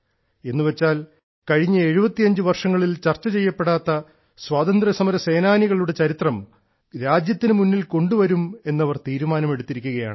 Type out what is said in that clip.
എന്നുവെച്ചാൽ കഴിഞ്ഞ 75 വർഷങ്ങളിൽ ചർച്ച ചെയ്യപ്പെടാത്ത സ്വാതന്ത്ര്യ സമര സേനാനികളുടെ ചരിത്രം രാജ്യത്തിന് മുന്നിൽ കൊണ്ടുവരുമെന്ന് അവർ തീരുമാനം എടുത്തിരിക്കുകയാണ്